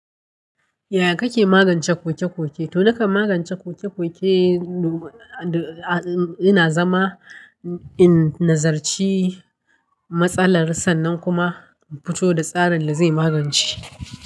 Yaya kake magance kokekoke? To nakan magance kokekoke, ina zama in nazarci matsalar sannan kuma in fito da tsarin da zai magance.